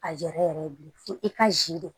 A yɛrɛ yɛrɛ ye bilen fo i ka sidi